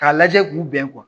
K'a lajɛ k'u bɛn